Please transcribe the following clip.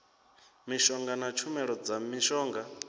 mishonga na tshumelo dza mishonga